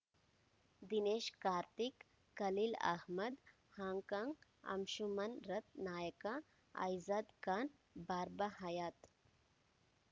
Dinesh Karthik Khaleel Ahmed Hong Kong Anshuman ರಥ್‌ನಾಯಕ ಐಜಾದ್ ಖಾನ್‌ ಬಾರ್ಬ ಹಯಾತ್‌